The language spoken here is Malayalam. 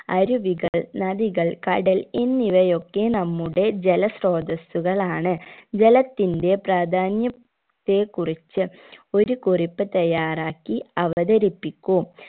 അരുവികൾ നദികൾ കടൽ എന്നിവയൊക്കെ നമ്മുടെ ജലസ്ത്രോതസ്സുകളാണ് ജലത്തിന്റെ പ്രാധാന്യം ത്തെ കുറിച് ഒരു കുറിപ്പ് തയ്യാറാക്കി അവതരിപ്പിക്കൂ